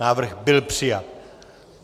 Návrh byl přijat.